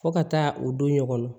Fo ka taa o don ɲɔgɔnna